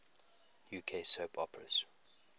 uk soap operas